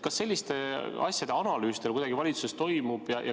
Kas selliste asjade analüüs teil kuidagi valitsuses toimub?